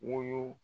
Woyo